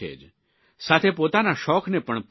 સાથે પોતાના શોખને પણ પોષી શકશો